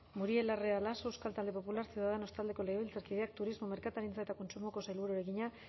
muriel larrea laso euskal talde popularra ciudadanos taldeko legebiltzarkideak turismo merkataritza eta kontsumoko sailburuari egina